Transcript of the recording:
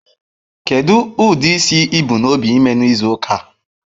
Kedu ụdị isi ị bu n'obi ịme n'izu ụka a?